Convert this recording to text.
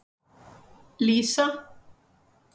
Lísa